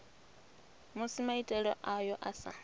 musi maitele ayo a sa